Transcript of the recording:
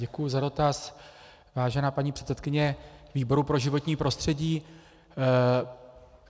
Děkuji za dotaz, vážená paní předsedkyně výboru pro životní prostředí.